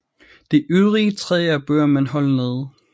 De øvrige træer bør man holde nede